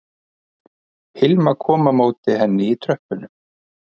Hilma kom á móti henni í tröppunum